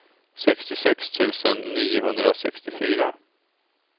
sextiosex tusen niohundrasextiofyra